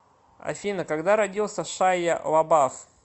афина когда родился шайя лабаф